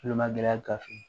Olu le ma gɛlɛ gafe